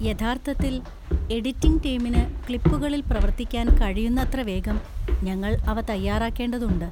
യഥാർത്ഥത്തിൽ, എഡിറ്റിംഗ് ടീമിന് ക്ലിപ്പുകളിൽ പ്രവർത്തിക്കാൻ, കഴിയുന്നത്ര വേഗം ഞങ്ങൾ അവ തയ്യാറാക്കേണ്ടതുണ്ട്.